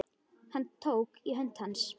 Hann tók í hönd hans.